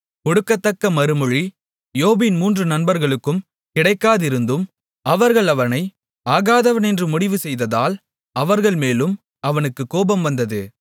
கொடுக்கத்தக்க மறுமொழி யோபின் மூன்று நண்பர்களுக்கும் கிடைக்காதிருந்தும் அவர்கள் அவனை ஆகாதவனென்று முடிவு செய்ததால் அவர்கள்மேலும் அவனுக்குக் கோபம் வந்தது